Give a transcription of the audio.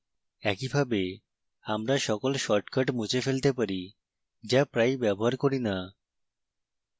একইভাবে আমরা সকল shortcuts মুছে ফেলতে পারি যা প্রায়ই ব্যবহার করি in